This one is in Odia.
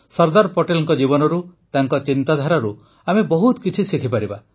ସର୍ଦ୍ଦାର ପଟେଲଙ୍କ ଜୀବନରୁ ତାଙ୍କ ଚିନ୍ତାଧାରାରୁ ଆମେ ବହୁତ କିଛି ଶିଖିପାରିବା